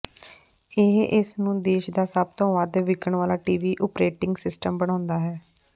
ਇਹ ਇਸ ਨੂੰ ਦੇਸ਼ ਦਾ ਸਭ ਤੋਂ ਵੱਧ ਵਿਕਣ ਵਾਲਾ ਟੀਵੀ ਓਪਰੇਟਿੰਗ ਸਿਸਟਮ ਬਣਾਉਂਦਾ ਹੈ